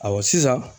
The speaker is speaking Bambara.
Ayiwa sisan